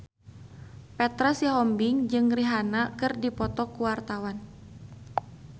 Petra Sihombing jeung Rihanna keur dipoto ku wartawan